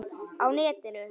Á netinu